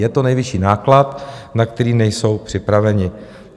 Je to nejvyšší náklad, na který nejsou připraveny.